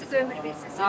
A siz doğulmusuz.